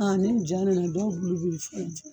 Aa ni ja nana dɔw bulu de bi fɛn fɛn